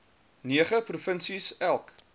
nege provinsies elk